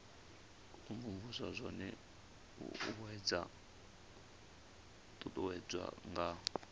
imvumvusa zwone zwo uuwedzwa nga